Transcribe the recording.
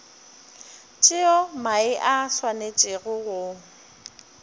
tšeo mae a swanetšego go